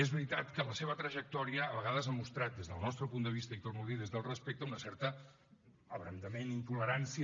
és veritat que la seva trajectòria a vegades ha mostrat des del nostre punt de vista i ho torno a dir des del respecte un cert abrandament intolerància